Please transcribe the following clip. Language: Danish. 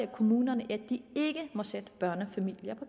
kommunerne ikke at sætte børnefamilier på